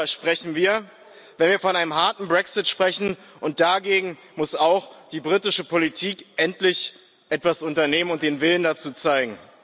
Darüber sprechen wir, wenn wir von einem harten Brexit sprechen, und dagegen muss auch die britische Politik endlich etwas unternehmen und den Willen dazu zeigen.